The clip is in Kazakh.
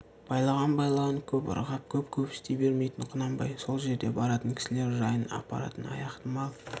байлаған байлауын көп ырғап көп көпсіте бермейтін құнанбай сол жерде баратын кісілер жайын апаратын аяқты мал